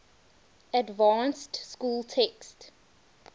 advanced school text